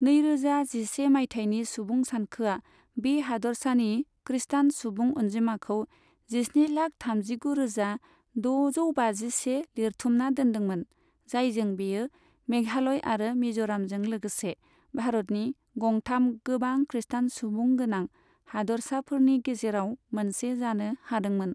नैरोजा जिसे मायथाइनि सुबुं सानखोआ बे हादोरसानि खृष्टान सुबुं अनजिमाखौ जिस्निलाख थामजिगुरोजा द'जौबाजिसे लिरथुमना दोन्दोंमोन, जायजों बेयो मेघालय आरो मिज'रामजों लोगोसे भारतनि गंथाम गोबां खृष्टान सुबुं गोनां हादोरसाफोरनि गेजेराव मोनसे जानो हादोंमोन।